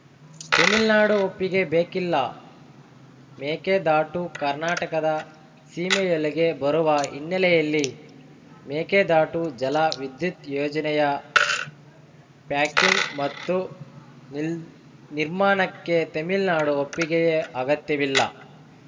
ತೆಮಿಳ್ನಾಡು ಒಪ್ಪಿಗೆ ಬೇಕಿಲ್ಲ ಮೇಕೆದಾಟು ಕರ್ನಾಟಕದ ಸೀಮೆಯೊಳಗೆ ಬರುವ ಹಿನ್ನೆಲೆಯಲ್ಲಿ ಮೇಕೆದಾಟು ಜಲ ವಿದ್ಯುತ್‌ ಯೋಜನೆಯ ಪ್ಯಾಕಿಂಗ್‌ ಮತ್ತು ನಿಲ್ ನಿರ್ಮಾಣಕ್ಕೆ ತಮಿಳ್ನಾಡಿನ ಒಪ್ಪಿಗೆಯ ಅಗತ್ಯವಿಲ್ಲ